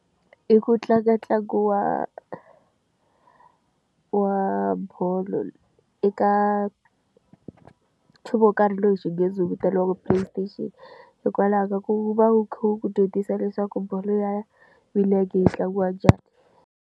I ku tlanga ntlangu wa wa bolo eka nchumu wo karhi loyi xinghezi wu vitaniwaka Play station hikwalaho ka ku va wu khe wu ku dyondzisa leswaku bolo ya milenge yi tlangiwa njhani.